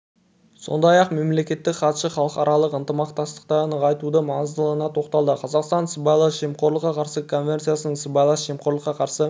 сондай-ақ мемлекеттік хатшы халықаралық ынтымақтастықты нығайтудың маңыздылығына тоқталды қазақстан сыбайлас жемқорлыққа қарсы конвенциясының сыбайлас жемқорлыққа қарсы